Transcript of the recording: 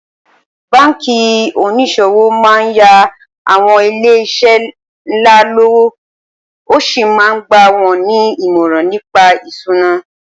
Báǹkì onís̩òwò máa ń yá àwo̩n ilé is̩é̩ ńlá lówó ó sì máa ń gbà wó̩n ní ìmò̩ràn ni̩pa ìs̩úná